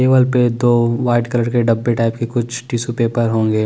दीवाल पे दो वाइट कलर के डब्बे टाइप के कुछ टिश्यू पेपर होंगे ।